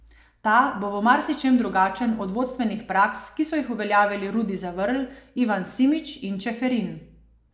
Ta bo v marsičem drugačen od vodstvenih praks, ki so jih uveljavili Rudi Zavrl, Ivan Simič in Čeferin.